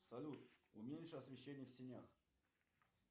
салют уменьши освещение в сенях